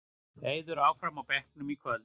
Eiður áfram á bekknum í kvöld